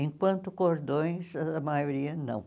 Enquanto cordões, a maioria não.